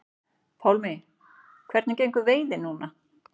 Pálmi: Hvernig gengur veiðin núna?